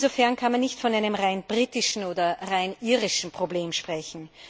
Insofern kann man nicht von einem rein britischen oder rein irischen Problem sprechen.